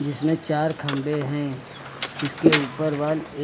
इसमें चार खंबे हैं इसके ऊपर वॉल ए--